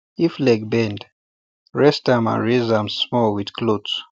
if leg bend rest am and raise am small with cloth